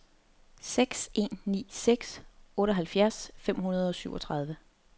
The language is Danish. seks en ni seks otteoghalvfjerds fem hundrede og syvogtredive